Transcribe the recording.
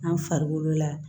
An farikolo la